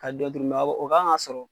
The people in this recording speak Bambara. Ka dɔ o kan ka sɔrɔ